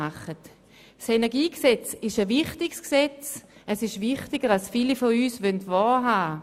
Das KEnG ist ein wichtiges Gesetz, wichtiger als es viele von uns wahrhaben wollen.